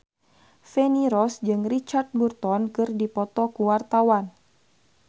Feni Rose jeung Richard Burton keur dipoto ku wartawan